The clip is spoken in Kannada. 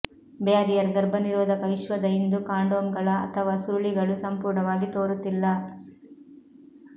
ಬ್ಯಾರಿಯರ್ ಗರ್ಭನಿರೋಧಕ ವಿಶ್ವದ ಇಂದು ಕಾಂಡೋಮ್ಗಳ ಅಥವಾ ಸುರುಳಿಗಳು ಸಂಪೂರ್ಣವಾಗಿ ತೋರುತ್ತಿಲ್ಲ